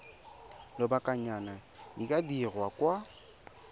lobakanyana di ka dirwa kwa